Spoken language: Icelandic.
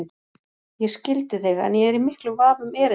Ég skildi þig en ég er í miklum vafa um erindið.